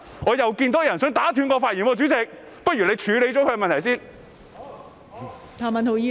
我又看到有人想打斷我的發言，代理主席，不如你先處理他的問題。